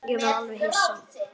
Ég var alveg hissa.